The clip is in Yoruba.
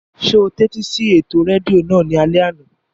Ṣé o tẹ́tí sí ètò rédíò náà ní alẹ́ àná?